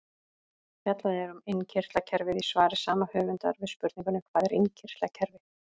Fjallað er um innkirtlakerfið í svari sama höfundar við spurningunni Hvað er innkirtlakerfi?